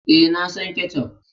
E, na son ketchup.